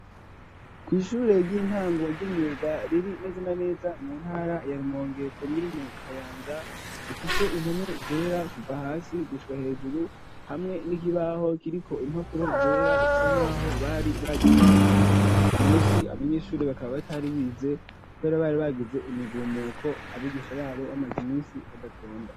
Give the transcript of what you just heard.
Kw'ishure ry'intango ry'imyuga riri neze na neza mu ntara ya Rumonge komine Kayanza, ifise impome zera kuva hasi gushika hejuru, hamwe n'ikibaho kiriko impapfuro zera bisa nkaho bari bazitabuye. Uyu munsi abanyeshuri bakaba batari bize kubera bari bagize imigumuko abigisha babo bamaze iminsi badatonda.